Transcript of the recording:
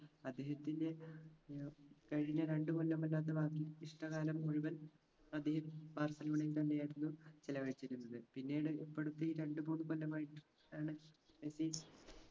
അദ്ദേഹത്തിൻറെ ഏർ കഴിഞ്ഞ രണ്ട് കൊല്ലമല്ലാത്ത ബാക്കി ഇഷ്ടകാലം മുഴുവൻ അദ്ദേഹം ബാർസിലോണയിൽ തന്നെയായിരുന്നു ചിലവഴിച്ചിരുന്നത് പിന്നീട് ഇപ്പടുത്ത് ഈ രണ്ട് മൂന്ന് കൊല്ലമായിട്ട് ലയണൽ മെസ്സി